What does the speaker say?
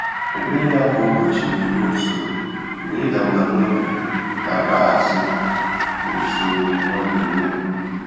Ékpèré yá kwá ụ́bọ̀chị̀ nà-ényé ùsòrò mgbè ị́dà mbà n’óbí nà-ákpàghàsị́ ùsòrò ọ́ nà-émébú.